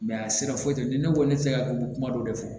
a sera foyi tɛ di ne ko ne tɛ se ka ko kuma dɔ de fɔ